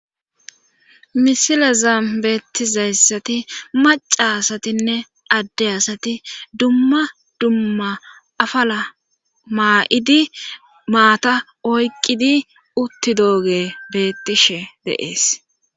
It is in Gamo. misilezam beettizayssati maca asatinne adde asati dumma dumma afala maa7idi maata oyqqidi utti dooge beettishe deees